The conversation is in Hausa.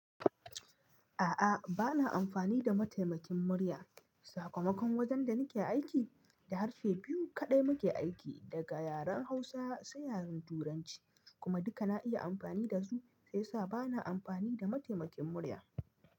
A'a, ba na amfani da mataimakin murya. Sakamakon wajen da nake aiki, da harshe biyu kaɗai muke aiki, daga yaren Hausa sai yaren Turanci, kuma duka na iya amfani da su, shiyasa ba na amfani da mataimakin murya.